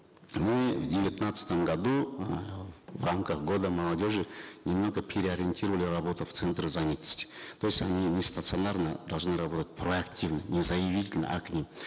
мы в девятнадцатом году э в рамках года молодежи немного переориентировали работу в центрах занятости то есть они не стационарно должны работать проактивно не заявитель а к ним